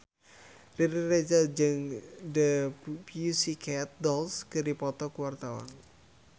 Riri Reza jeung The Pussycat Dolls keur dipoto ku wartawan